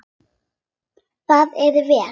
Það er vel.